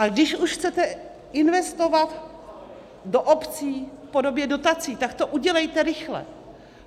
A když už chcete investovat do obcí v podobě dotací, tak to udělejte rychle.